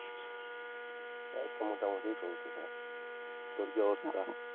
এই তো মোটামুটি চলতেসে। তোর কি অবস্থা?